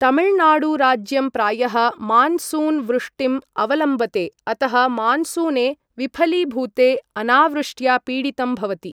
तमिळनाडु राज्यं प्रायः मानसून् वृष्टिम् अवलम्बते, अतः मानसूने विफलीभूते अनावृष्ट्या पीडितं भवति।